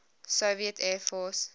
soviet air force